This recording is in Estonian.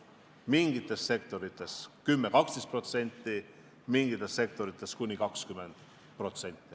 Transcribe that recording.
Mingites sektorites on palk tõusnud 10–12%, mingites sektorites kuni 20%.